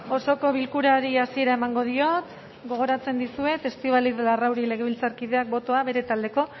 osoko bilkurari hasiera emango diot gogoratzen dizuet estibaliz larrauri legebiltzarkideak botoa bere taldeko